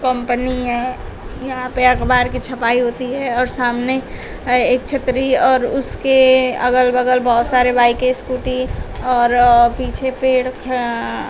company है यहां पे अखबार की छपाई होती है और सामने अ एक छतरी और उसके अगल बगल बहोत सारे बाइके स्कूटी और अ पीछे पेड़ खड़ा--